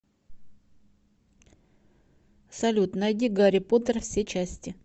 салют найди гарри поттер все части